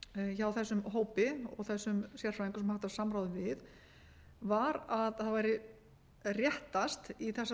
hjá þessum hópi og þessum sérfræðingum sem haft var samráð við var að það væri réttast í þessari